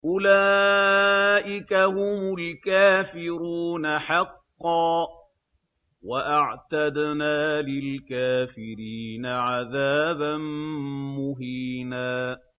أُولَٰئِكَ هُمُ الْكَافِرُونَ حَقًّا ۚ وَأَعْتَدْنَا لِلْكَافِرِينَ عَذَابًا مُّهِينًا